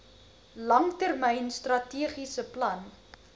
langtermyn strategiese plan